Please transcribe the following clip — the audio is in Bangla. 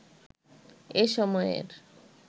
এ সময়ের